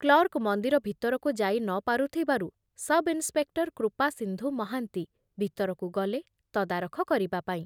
Clerk ମନ୍ଦିର ଭିତରକୁ ଯାଇ ନ ପାରୁଥିବାରୁ ସବଇନ୍ସପେକ୍ଟର କୃପାସିନ୍ଧୁ ମହାନ୍ତି ଭିତରକୁ ଗଲେ ତଦାରଖ କରିବା ପାଇଁ ।